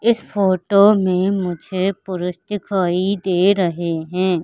इस फोटो मे मुझे पुरुष दिखाई दे रहे है।